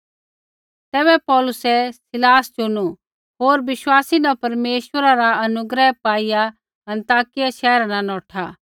पर पौलुसै सीलास चुनू होर बिश्वासी न परमेश्वरा रा अनुग्रह पाईआ अन्ताकिया शैहरा न नौठा